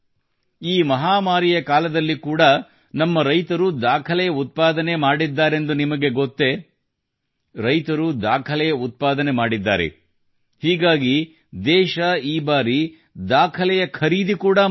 ಈ ಮಹಾಮಾರಿಯ ಕಾಲದಲ್ಲಿ ಕೂಡಾ ನಮ್ಮ ರೈತರು ದಾಖಲೆಯ ಉತ್ಪಾದನೆ ಮಾಡಿದ್ದಾರೆಂದು ನಿಮಗೆ ಗೊತ್ತೇ ರೈತರು ದಾಖಲೆಯ ಉತ್ಪಾದನೆ ಮಾಡಿದ್ದಾರೆ ಹೀಗಾಗಿ ದೇಶ ಈ ಬಾರಿ ದಾಖಲೆಯ ಖರೀದಿ ಕೂಡಾ ಮಾಡಿದೆ